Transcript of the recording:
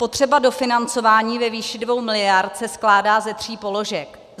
Potřeba dofinancování ve výši 2 miliard se skládá ze tří položek.